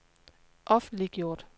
offentliggjort